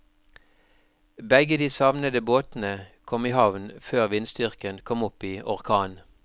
Begge de savnede båtene kom i havn før vindstyrken kom opp i orkan.